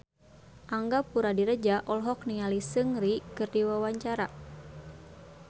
Angga Puradiredja olohok ningali Seungri keur diwawancara